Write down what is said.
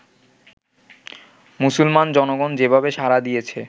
মুসলমান জনগণ যেভাবে সাড়া দিয়েছে